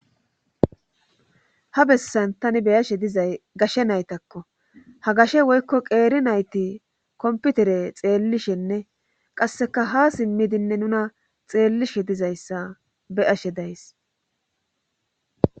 ha bessan tani beyashe dizay gashe naytakko ha gashe woykko qeeri nayti komputere xeellishenne qasseka ha simmidinne nuna xeellishe dizayssa be'ashe days